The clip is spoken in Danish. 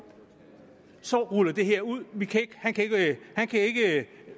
så ruller det her ud han kan